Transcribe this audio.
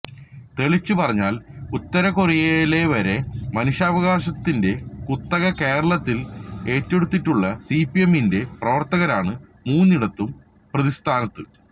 തെളിച്ചുപറഞ്ഞാല് ഉത്തര കൊറിയയിലെവരെ മനുഷ്യാവകാശത്തിന്റെ കുത്തക കേരളത്തില് ഏറ്റെടുത്തിട്ടുള്ള സിപിഎമ്മിന്റെ പ്രവര്ത്തകരാണ് മൂന്നിടത്തും പ്രതിസ്ഥാനത്ത്